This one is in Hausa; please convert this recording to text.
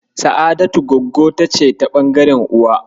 Sa'adatu Gwaggota ce ta ɓangaren uwa.